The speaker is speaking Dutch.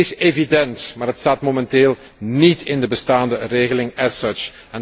Het is evident, maar het staat momenteel niet in de bestaande regeling as such